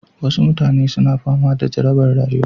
Wasu mutane suna fama da jarabar jima'i